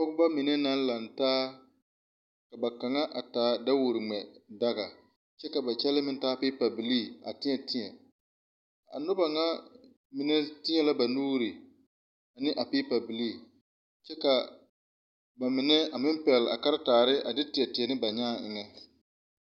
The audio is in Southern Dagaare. Pɔgebɔ mine naŋ laŋtaa ka ba kaŋa a taa daworo ngmɛ daga kyɛ ka ba kyɛlɛɛ meŋ taa peepa bilii a teɛ teɛ a nobɔ ŋa mine teɛ la ba nuure ne a peepa bilii kyɛ ka ba mine a meŋ pɛgle a karetaare a de teɛ teɛ ne ba nyaa eŋɛ.